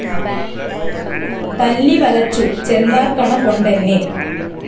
തല്ലി വലച്ചു ചെന്താർകണ കൊണ്ടെന്നെ